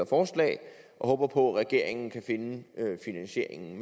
forslag og håber på at regeringen kan finde finansieringen